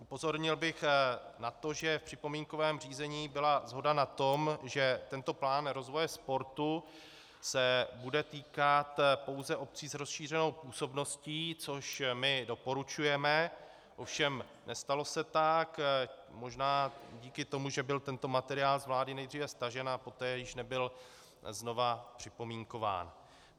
Upozornil bych na to, že v připomínkovém řízení byla shoda na tom, že tento plán rozvoje sportu se bude týkat pouze obcí s rozšířenou působností, což my doporučujeme, ovšem nestalo se tak možná díky tomu, že byl tento materiál z vlády nejdříve stažen a poté již nebyl znovu připomínkován.